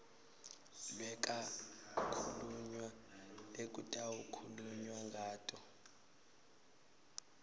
lekwakhulunywa lekutawukhulunywa ngato